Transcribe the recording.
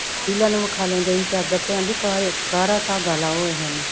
ਇਲਾ ਨੂੰ ਵਿਖਾਲਣ ਗਏ ਤਾ ਚਾਦਰ ਤਾ ਕਾਹਦੀ ਕਾਲਾ ਧਾਗਾ ਲਾਓ ਇਹਨੇ